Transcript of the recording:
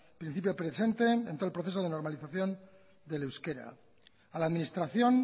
principios presentes en todo el proceso de normalización del euskera a la administración